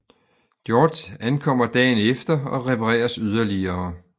George ankommer dagen efter og repareres yderligere